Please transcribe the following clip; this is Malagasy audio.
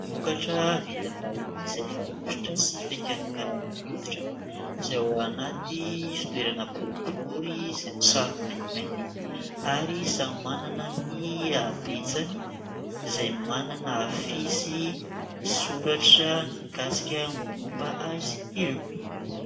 Vokatra vita vahiny izay fanosotra sy fikarakarana ny hoditra : izay ao anaty fitoerana boribory izay misarona maintimainty ary samy manana ny habetsany, izay manana afisy misoratra ny mikasika ny mombamomba azy ireo.